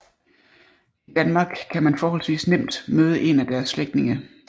I Danmark kan man forholdsvis nemt møde en af dens slægtninge